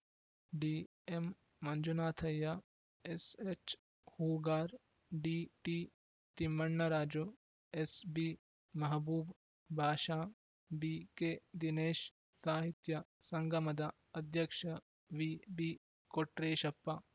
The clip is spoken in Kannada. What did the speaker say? ಡಿಎಂಮಂಜುನಾಥಯ್ಯ ಎಸ್‌ಎಚ್‌ಹೂಗಾರ್‌ ಡಿಟಿತಿಮ್ಮ ಣ್ಣರಾಜು ಎಸ್‌ಬಿಮಹಬೂಬ್‌ ಬಾಷ ಬಿಕೆದಿನೇಶ್‌ ಸಾಹಿತ್ಯ ಸಂಗಮದ ಅಧ್ಯಕ್ಷ ವಿಬಿಕೊಟ್ರೇಶಪ್ಪ